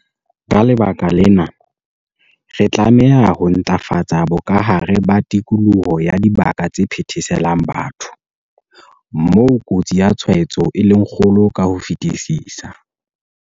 Ka lebaka lena, re tlameha ho ntlafatsa bokahare ba tikoloho ya dibaka tse phetheselang batho, moo kotsi ya tshwaetso e leng kgolo ka ho fetisisa.